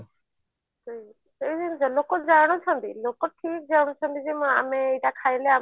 ହୁଁ ସେଇ ଜିନିଷ ଲୋକ ଜାଣୁଛନ୍ତି ଲୋକ ଠିକ ଜାଣୁଛନ୍ତି ଯେ ଆମେ ଏଇଟା ଖାଇଲେ